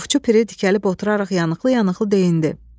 Ovçu Piri dikəlib oturaraq yanıqlı-yanıqlı deyindi.